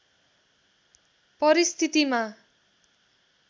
परिस्थितिमा